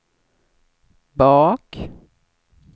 bak